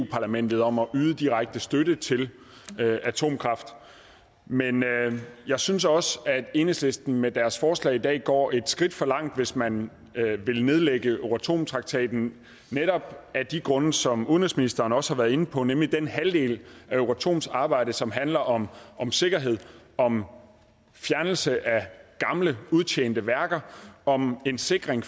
parlamentet om at yde direkte støtte til atomkraft men jeg synes også at enhedslisten med deres forslag i dag går et skridt for langt hvis man vil nedlægge euratomtraktaten netop af de grunde som udenrigsministeren også har været inde på nemlig den halvdel af euratoms arbejde som handler om om sikkerhed om fjernelse af gamle udtjente værker om en sikring